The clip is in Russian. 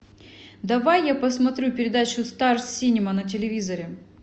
давай я посмотрю передачу стар синема на телевизоре